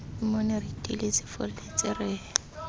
mmone re iteile sefolletse re